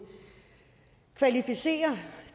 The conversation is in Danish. kvalificere